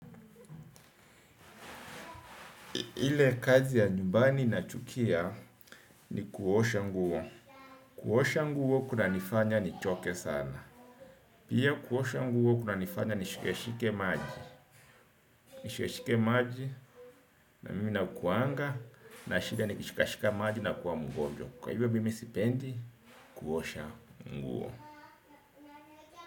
Ile kazi ya nyumbani naichukia ni kuosha nguo. Kuosha nguo kuna nifanya nichoke sana. Pia kuosha nguo kunanifanya nishikeshike maji. Nishikeshike maji na mimi na kuanga na shida ni kishikashika maji na kuwa mgonjwa. Kwa hivyo mimi sipendi kuosha nguo.